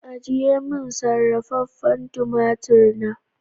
Ajiye min sarrafafen tumatur na.